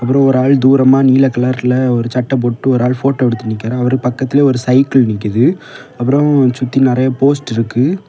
அப்புறம் ஒரு ஆள் தூரமா நீல கலர்ல ஒரு சட்டை போட்டு ஒரு ஆள் போட்டோ எடுத்து நிக்கிறான் அவரு பக்கத்திலே ஒரு சைக்கிள் நிக்குது அப்புறம் சுத்தி நிறைய போஸ்ட் இருக்கு.